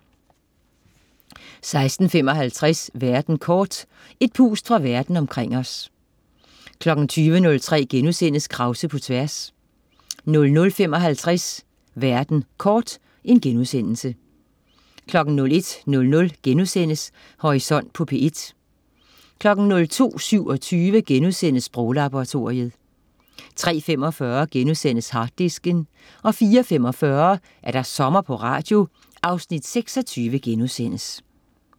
16.55 Verden kort. Et pust fra Verden omkring os 20.03 Krause på tværs* 00.55 Verden kort* 01.00 Horisont på P1* 02.27 Sproglaboratoriet* 03.45 Harddisken* 04.45 Sommer på Radio. Afsnit 26*